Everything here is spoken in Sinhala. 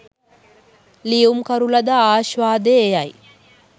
ලියුම්කරු ලද ආශ්වාදය එය යි